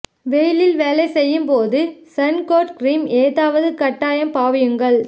வெயிலில் வேலை செய்யும் போது சண் கோட் கிறீம் ஏதாவது கட்டாயம் பாவியுங்கள்